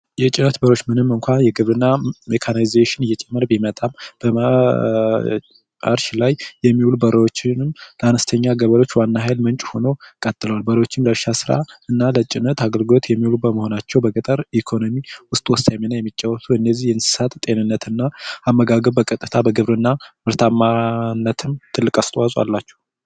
የጭነት በሬዎች ምንም እንኳን የግብርና ሜካናይዜሽን እየጨመረ ቢመጣም ለእርሻ ስራ የሚያገለግሉ በሬዎችም ለአነስተኛ ገበሬዎች የሃይል ሆኖ ቀጥሏል በሬዎችንም ለእርሻ ስራና ለጭነት አገልግሎት የሚውሉ በመሆናቸው ለገጠር ኢኮኖሚ ወሳኝ ሚና የሚጫወቱ ለእነዚህ እንስሳት እና አመጋገብ በቀጥታ ለግብርና ምርታማነትም ትልቅ አስተዋፅኦ አላቸው።